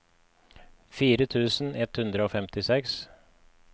fire tusen ett hundre og femtiseks